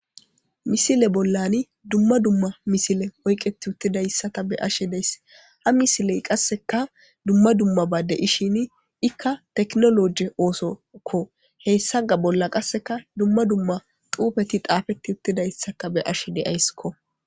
Misile bollan dumma dumma misile oyqeti utidaysata be'ashe daysi , ha misiley qaseka dumma dummaba de'ishn iika tekinoloje ososko heysika dumma dummaba xufeti xafetidaysaka be'ashe daysko